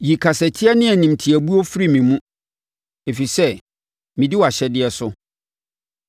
Yi kasatia ne animtiabuo firi me mu, ɛfiri sɛ medi wʼahyɛdeɛ so.